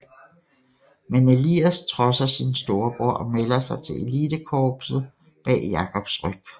Men Elias trodser sin storebror og melder sig til elitekorpset bag Jacobs ryg